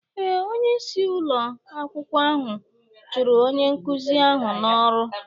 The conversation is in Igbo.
Ee, onyeisi ụlọ akwụkwọ ahụ chụrụ onye nkụzi ahụ n'ọrụ